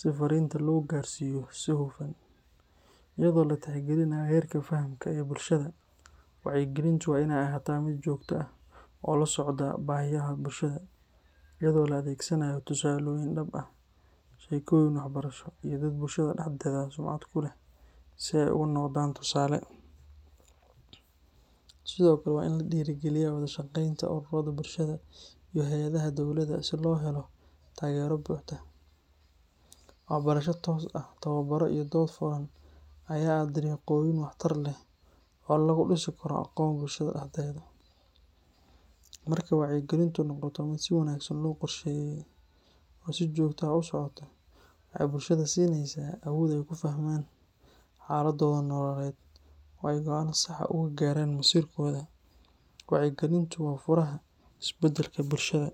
si fariinta loo gaarsiiyo si hufan, iyadoo la tixgelinayo heerka fahamka ee bulshada. Wacyigelintu waa inay ahaataa mid joogto ah oo la socda baahiyaha bulshada, iyadoo la adeegsanayo tusaalooyin dhab ah, sheekooyin waxbarasho, iyo dad bulshada dhexdeeda sumcad ku leh si ay ugu noqdaan tusaale. Sidoo kale, waa in la dhiirrigeliyaa wada-shaqeynta ururrada bulshada iyo hay’adaha dawladda si loo helo taageero buuxda. Waxbarasho toos ah, tababaro iyo dood furan ayaa ah dariiqooyin waxtar leh oo lagu dhisi karo aqoon bulshada dhexdeeda. Marka wacyigelintu noqoto mid si wanaagsan loo qorsheeyay oo si joogto ah u socota, waxay bulshada siinaysaa awood ay ku fahmaan xaaladooda nololeed oo ay go’aanno sax ah uga gaaraan masiirkooda. Wacyigelintu waa furaha isbeddelka bulshada.